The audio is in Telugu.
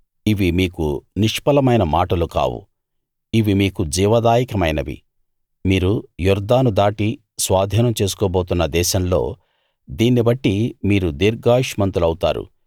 ఇవి మీకు నిష్ఫలమైన మాటలు కావు ఇవి మీకు జీవదాయకమైనవి మీరు యొర్దాను దాటి స్వాధీనం చేసుకోబోతున్న దేశంలో దీన్ని బట్టి మీరు దీర్ఘాయుష్మంతులవుతారు